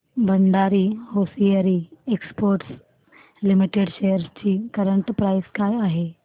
Bhandari hosiery exports limited shares ची current price काय आहे